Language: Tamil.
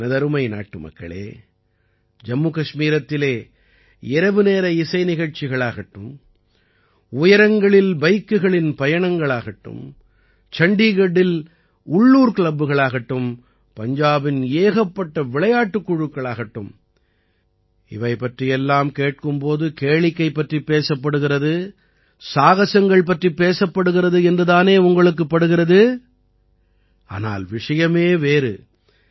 எனதருமை நாட்டுமக்களே ஜம்முகஷ்மீரத்திலே இரவு நேர இசை நிகழ்ச்சிகள் ஆகட்டும் உயரங்களில் பைக்குகளின் பயணங்களாகட்டும் சண்டீகட்டில் உள்ளூர் க்ளப்புகள் ஆகட்டும் பஞ்சாபின் ஏகப்பட்ட விளையாட்டுக் குழுக்களாகட்டும் இவை பற்றியெல்லாம் கேட்கும் போது கேளிக்கை பற்றிப் பேசப்படுகிறது சாகஸங்கள் பற்றிப் பேசப்படுகிறது என்று தானே உங்களுக்குப் படுகிறது ஆனால் விஷயமே வேறு